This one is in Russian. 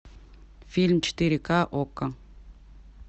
фильм четыре ка окко